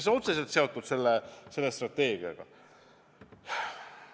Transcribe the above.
See on otseselt seotud selle strateegiaga.